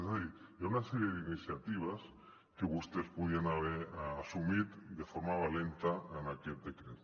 és a dir hi ha una sèrie d’iniciatives que vostès podrien haver assumit de forma valenta en aquest decret